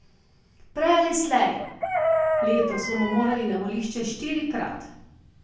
Prej ali slej, letos bomo morali na volišča štirikrat.